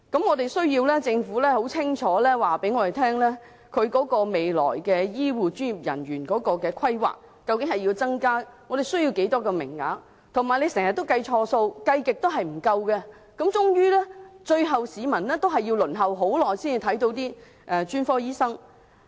我們需要政府清楚告訴我們未來對醫護專業人員的規劃，包括我們需要增加多少個名額，而政府又經常計錯數，算來算去也總是不夠，令市民最後要輪候很長時間才能看專科醫生。